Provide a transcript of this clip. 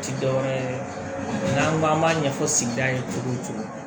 Ti dɔwɛrɛ ye n'an ko an b'a ɲɛfɔ sigida ye cogo o cogo